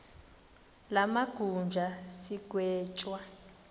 la majuda sigwetywa